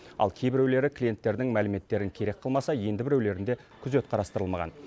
ал кейбіреулері клиенттердің мәліметтерін керек қылмаса енді біреулерінде күзет қарастырылмаған